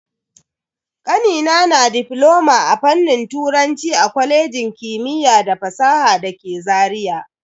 Kanina na difloma a fannin turanci a kwalejin kimiyya da fasaha dake Zaria.